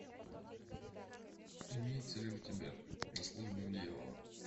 имеется ли у тебя на службе у дьявола